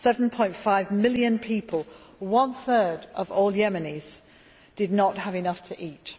7.5 million people one third of all Yemenis did not have enough to eat.